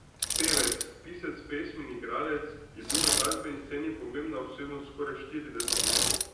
Pevec, pisec pesmi in igralec je bil na glasbeni sceni pomembna osebnost skoraj štirideset let.